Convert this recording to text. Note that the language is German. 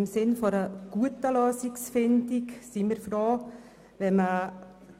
Im Sinne einer guten Lösungsfindung sind wir froh, wenn man